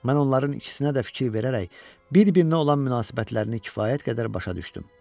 Mən onların ikisinə də fikir verərək bir-birinə olan münasibətlərini kifayət qədər başa düşdüm.